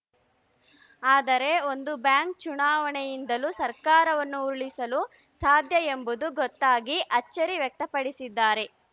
ಆದರೆ ಒಂದು ಬ್ಯಾಂಕ್‌ ಚುನಾವಣೆಯಿಂದಲೂ ಸರ್ಕಾರವನ್ನು ಉರುಳಿಸಲು ಸಾಧ್ಯ ಎಂಬುದು ಗೊತ್ತಾಗಿ ಅಚ್ಚರಿ ವ್ಯಕ್ತಪಡಿಸಿದ್ದಾರೆ